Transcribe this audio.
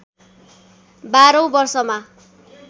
१२ औं वर्षमा